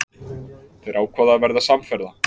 Þeir ákváðu að verða samferða.